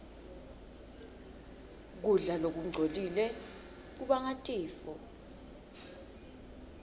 kudla lokungcolile kubanga tifo